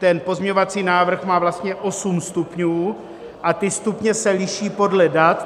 Ten pozměňovací návrh má vlastně osm stupňů a ty stupně se liší podle dat.